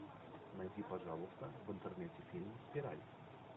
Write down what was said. найди пожалуйста в интернете фильм спираль